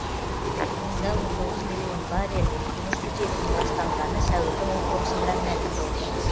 онда он тоғыз миллион баррель көмірсутегінің ластанғаны сәуірдің он тоғызында мәлім болды